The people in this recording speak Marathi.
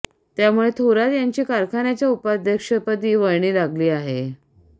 त्यामुळे थोरात यांची कारखान्याच्या उपाध्यक्षपदी वर्णी लागली आहे